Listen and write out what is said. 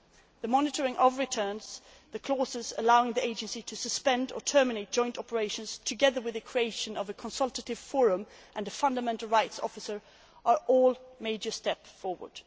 The monitoring of returns, the clauses allowing the Agency to suspend or terminate joint operations, and the creation of a consultative forum and a fundamental rights officer are all major steps forward.